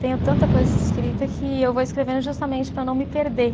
Tenho tanta coisa escrita que eu vou escrevendo justamente para não me perder.